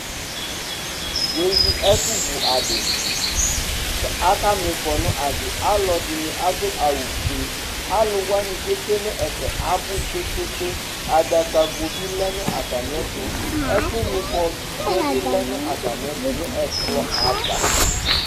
wʋ ɛwi ɛƒʋ vʋ adi kʋ aka miƒɔ nʋ adi, alɔdini adʋ awʋ ƒʋɛ, alʋwani kʋ ɛtwɛnʋ ɛƒɛ abʋ kpekpekpe, adaka gɔ bi lɛnʋ atami ɛtʋ, ɛƒʋ miƒɔ dʋɛ bi lɛnʋ atami ɛtʋ nʋ ɛkplɔ aɣa